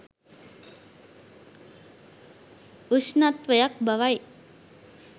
උෂ්ණත්වයක් බවයි